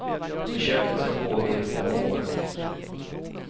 Försöket ska pågå i två år.